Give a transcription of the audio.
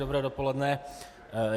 Dobré dopoledne.